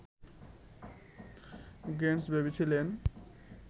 Gates ভেবেছিলেন